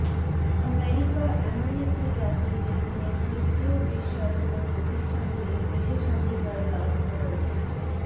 America এমন একটি জাতি যেখানে খ্রিস্টীয় বিশ্বাস এবং প্রতিষ্ঠানগুলি বিশেষাধিকার লাভ করা উচিত